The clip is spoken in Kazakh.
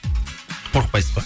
қорықпайсыз ба